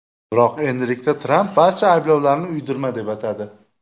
Biroq endilikda Tramp barcha ayblovlarni uydirma deb atadi.